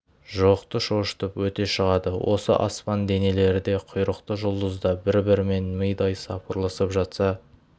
жоқты шошытып өте шығады осы аспан денелері де құйрықты жұлдыз да бір-бірімен мидай сапырылысып жатса